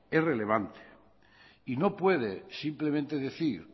es relevante y no puede simplemente decir